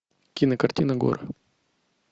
кинокартина горы